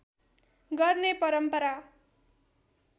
गर्ने परम्परा